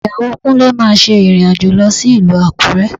Ìyàwó Kúnlé máa ṣe ìrìn-àjò lọ sí ìlú Àkúrẹ́